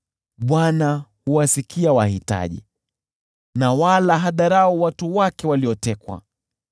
Bwana huwasikia wahitaji wala hadharau watu wake waliotekwa.